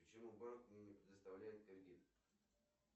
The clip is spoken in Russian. почему банк мне не предоставляет кредит